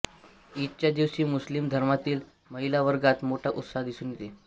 ईदच्या दिवशी मुस्लिम धर्मातील महिलावर्गात मोठा उत्साह दिसून येतो